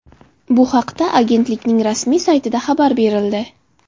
Bu haqda Agentlikning rasmiy saytida xabar berildi .